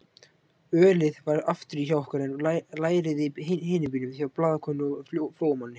Ölið var afturí hjá okkur en lærið í hinum bílnum hjá blaðakonu og Flóamanni.